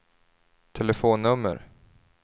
telefonnummer